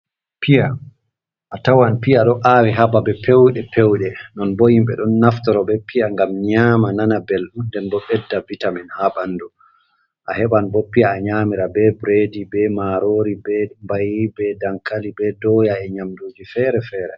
Piya a tawan piya ɗo awi hababe pewɗe pewɗe, non bo himɓe ɗon naftoro be piya ngam nyama nana belɗum nden bo bedda vitamin ha ɓandu, a heɓan bo piya a nyamira be biredi, be marori, be mbayi, be dankali, be doya, e nyamduji fere-fere.